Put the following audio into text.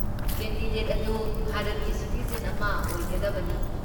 Candidate ꯑꯗꯨ ꯚꯥꯔꯠꯀꯤ citizen ꯑꯃ ꯑꯣꯏꯒꯗꯕꯅꯤ ꯫